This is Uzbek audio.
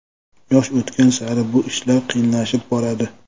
Yosh o‘tgan sari bu ishlar qiyinlashib boradi.